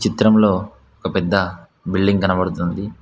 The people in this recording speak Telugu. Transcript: ఈ చిత్రంలో ఒక పెద్ద బిల్డింగ్ కనబడుతుంది.